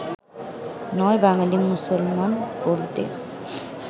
৯ বাঙালী মুসলমান বলতে